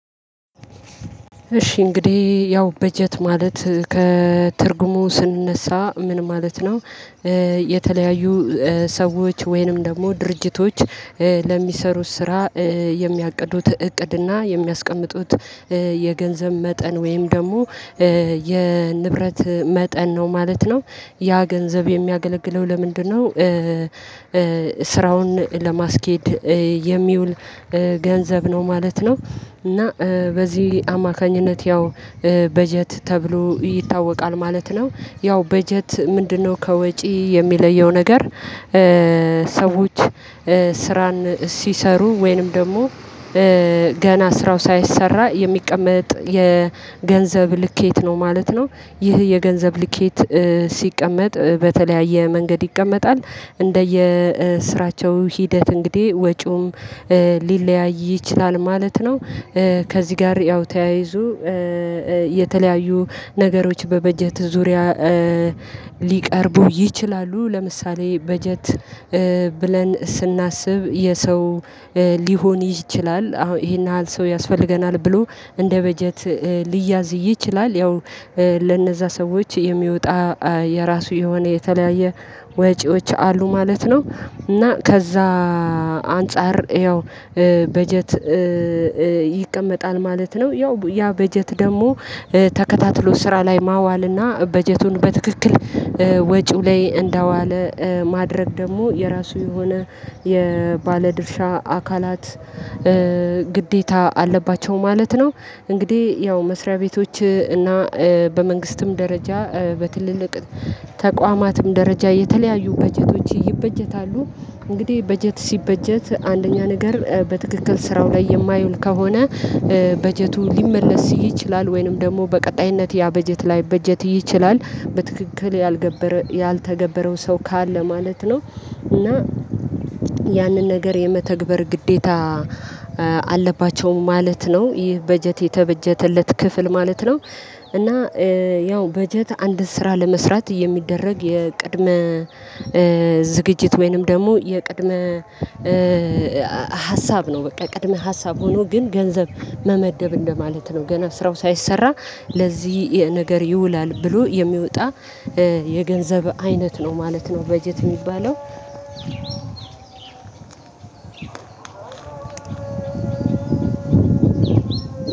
እሺ እንግዲህ ያው በጀት ማለት ከትርጉሙ ስንነሳ ምን ማለት ነው? የተለያዩ ሰዎች ወይንም ደግሞ ድርጅቶች ለሚሰሩት ስራ የሚያቅዱት ዕቅድና የሚያስቀምጡት የገንዘብ መጠን ወይም ደግሞ የንብረት መጠን ነው ማለት ነው። ያ ገንዘብ የሚያገለግለው ለምንድነው ስራውን ለማስኬድ የሚውል ገንዘብ ነው ማለት ነው። እና በዚህ አማካኝነት ያው በጀት ተብሎ ይታወቃል ማለት ነው። ያው በጀት ምንድነው ከወጪ የሚለየው ነገር? ሰዎች ስራን ሲሰሩ ወይንም ደግሞ ገና ስራው ሳይሰራ የሚቀመጥ የገንዘብ ልኬት ነው ማለት ነው። ይህ የገንዘብ ልኬት ሲቀመጥ በተለያየ መንገድ ይቀመጣል እንደየ ስራቸው ሂደት እንግዲህ ወጪውም ሊለያይ ይችላል ማለት ነው። ከዚህ ጋር ያው ተያይዞ የተለያዩ ነገሮች በበጀት ዙሪያ ሊቀርቡ ይችላሉ ለምሳሌ በጀት ብለን ስናስብ የሰው ሊሆን ይችላል አሁን ይሄን ያህል ሰው ያስፈልገናል ብሎ እንደ በጀት ሊያዝ ይችላል ያው ለነዛ ሰዎች የሚወጣ የራሱ የሆነ የተለያየ ወጪዎች አለ ማለት ነው። እና ከዛ አንፃር ያው በጀት ይቀመጣል ማለት ነው። ያው ያ በጀት ደግሞ ተከታትሎ ስራ ላይ ማዋልና በጀቱን በትክክል ወጪው ላይ እንደዋለ ማድረግ ደግሞ የራሱ የሆነ የባለድርሻ አካላት ግዴታ አለባቸው ማለት ነው። እንግዲህ ያው መስሪያ ቤቶች እና በመንግስትም ደረጃ በትልልቅ ተቋማትም ደረጃ የተለያዩ በጀቶች ይበጀታሉ። እንግዲህ በጀት ሲበጀት አንደኛ ነገር በትክክል ስራው ላይ የማያውል ከሆነ በጀቱ ሊመለስ ይችላል ወይንም ደግሞ በቀጣይነት ያ በጀት ላይበጀት ይችላል በትክክል ያልተገበረው ሰው ካለ ማለት ነው። እና ያንን ነገር የመተግበር ግዴታ አለባቸው ማለት ነው ይህ በጀት የተበጀተለት ክፍል ማለት ነው። እና ያው በጀት አንድ ስራ ለመስራት የሚደረግ የቅድመ ዝግጅት ወይንም ደግሞ የቅድመ ሀሳብ ነው በቃ ቅድመ ሀሳብ ሆኖ ግን ገንዘብ መመደብ እንደማለት ነው ገና ስራው ሳይሰራ ለዚህ ነገር ይውላል ብሎ የሚወጣ የገንዘብ አይነት ነው ማለት ነው። በጀት የሚባለው